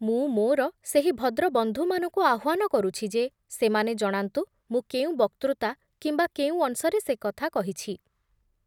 ମୁଁ ମୋର ସେହି ଭଦ୍ରବନ୍ଧୁମାନଙ୍କୁ ଆହ୍ବାନ କରୁଛି ଯେ ସେମାନେ ଜଣାନ୍ତୁ ମୁଁ କେଉଁ ବକ୍ତୃତା କିମ୍ବା କେଉଁ ଅଂଶରେ ସେ କଥା କହିଛି ।